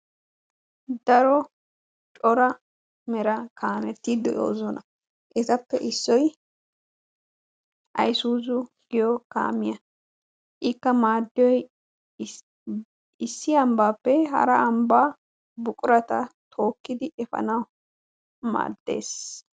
daro cora mera kaameti de'oosona. etappe issoy isuzu giyo kaamiya. ikka maaddiyoy issi ambbaappe hara ambbaa buqurata tookkidi efanawu maaddes.